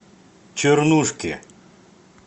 чернушке